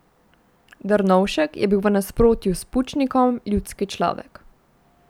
Drnovšek je bil v nasprotju s Pučnikom ljudski človek.